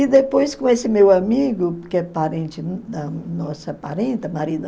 E depois, com esse meu amigo, que é parente da nossa parenta